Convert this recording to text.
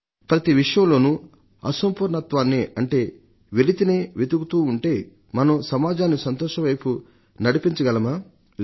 ప్రతి విషయంలోనూ అసంపూర్ణత్వాన్నే అంటే వెలితినే వెతుకుతుంటే మనం సమాజాన్ని సంతోషం వైపు నడిపించగలమా లేదు